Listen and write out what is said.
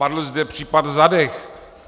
Padl zde případ Zadeh.